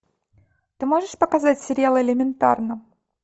ты можешь показать сериал элементарно